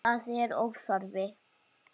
Það er óþarfi.